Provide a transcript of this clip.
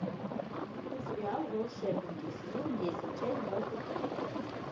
покажи мне сериал волшебники сезон десять часть двадцать пять